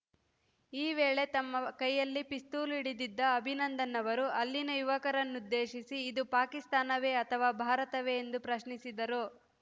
ಈ ವೇಳೆ ತಮ್ಮ ಕೈಯಲ್ಲಿ ಪಿಸ್ತೂಲು ಹಿಡಿದಿದ್ದ ಅಭಿನಂದನ್‌ ಅವರು ಅಲ್ಲಿನ ಯುವಕರನ್ನುದ್ದೇಶಿಸಿ ಇದು ಪಾಕಿಸ್ತಾನವೇ ಅಥವಾ ಭಾರತವೇ ಎಂದು ಪ್ರಶ್ನಿಸಿದರು